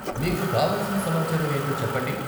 మీకు కావలసిన సమాచారం ఏంటో చెప్పండి.